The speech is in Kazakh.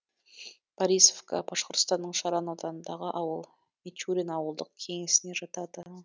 борисовка башқұртстанның шаран ауданындағы ауыл мичурин ауылдық кеңесіне жатады